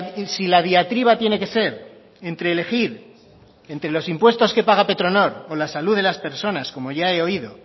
y si la diatriba tiene que ser entre elegir entre los impuestos que paga petronor o la salud de las personas como ya he oído